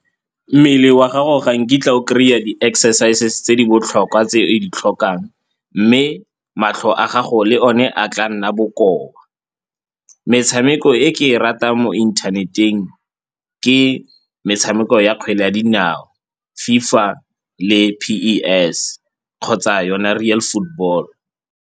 Mmele wa gago ga nkitla o kry-a di-exercises tse di botlhokwa tse o di tlhokang mme matlho a gago le o ne a tla nna bokoa. Metshameko e ke e ratang mo inthaneteng ke metshameko ya kgwele ya dinao, FIFA le P_E_S kgotsa yona Real Football.